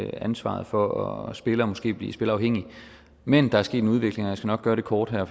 ansvaret for at spille og måske blive spilleafhængig men der er sket en udvikling og jeg skal nok gøre det kort her